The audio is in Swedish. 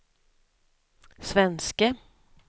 svenske